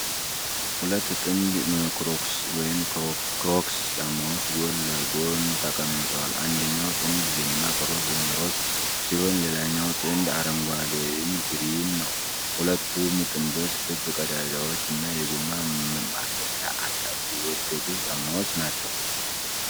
ሁለት ጥንድ ክሮክስ (ክሮክስ) ጫማዎች ጎን ለጎን ተቀምጠዋል። አንደኛው ጥንድ ደማቅ ሮዝ (ሮዝ) ሲሆን ሌላኛው ጥንድ አረንጓዴ (ግሪን) ነው። ሁለቱም ጥንዶች ክብ ቀዳዳዎች እና የጎማ ማሰሪያ አላቸው። የወደቁ ጫማዎች ናቸው።